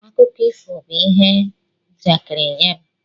Akụkọ ifo bụ ihe njakịrị nye m.